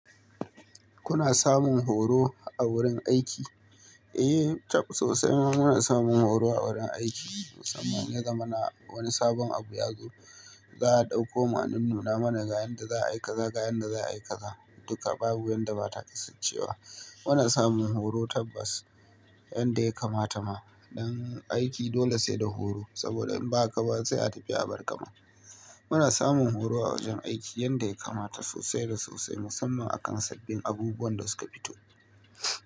Kuna samun horo a wurin aiki? Eh, taf sosai muna samun horo a wurin aiki musamman idan ya zamana wani sabon abu ya zo za a ɗauko mu an nuna mana ga yanda za a yi kaza ga yanda za a yi kaza duka babu yanda bata kasancewa. Muna samun horo tabbas yanda ya kamata ma don aiki dole sai da horo saboda in ba haka ba sai a tafi a barka ma. Muna samun horo a wajen aiki yanda ya kamata sosai da sosai musamman akan sabbin abubuwan da suka fito.